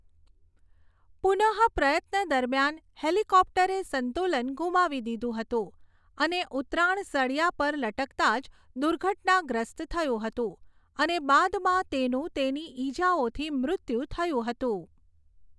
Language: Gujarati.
પુનઃપ્રયત્ન દરમિયાન હેલિકોપ્ટરે સંતુલન ગુમાવી દીધું હતું અને ઉતરાણ સળિયા પર લટકતા જ દુર્ઘટનાગ્રસ્ત થયું હતું અને બાદમાં તેનું તેની ઈજાઓથી મૃત્યુ થયું હતું.